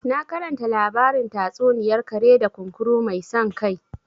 Na karanta labarin tatsuniyar kare da kunkuru mai san kai